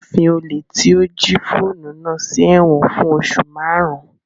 Wọn fí olè tí ó jí fóònù náà sí ẹ̀wọ̀n fún oṣù márùn-ún